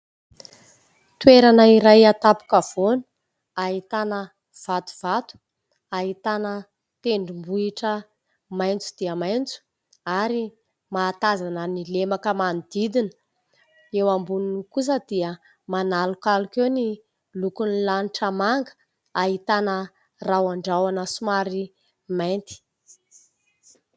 Toerana iray an-tampon-kavoana ahitana vatovato, ahitana tendrombohitra maitso dia maitso ary mahatazana ny lemaka manodidina. Eo amboniny kosa dia manalokaloka eo ny lokon'ny lanitra manga ahitana rahondrahona somary mainty.